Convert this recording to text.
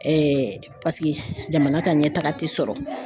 Ɛɛ paseke jamana ka ɲɛtaga ti sɔrɔ